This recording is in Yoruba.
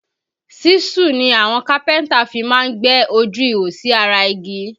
Ṣíṣù ni àwọn kápẹ́ntà máa fí ń gbẹ́ ojú ihò sí ara igi